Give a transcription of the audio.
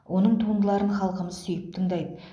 оның туындыларын халқымыз сүйіп тыңдайды